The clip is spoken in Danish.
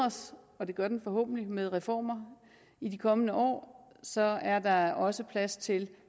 og det gør den forhåbentlig med reformer i de kommende år så er der også plads til